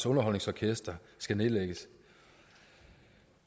underholdningsorkestret skal nedlægges